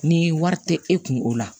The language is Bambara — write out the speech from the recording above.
Ni wari tɛ e kun o la